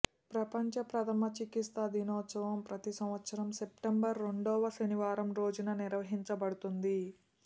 ప్రపంచ ప్రథమ చికిత్స దినోత్సవం ప్రతి సంవత్సరం సెప్టెంబరు రెండవ శనివారం రోజున నిర్వహించబడుతుంది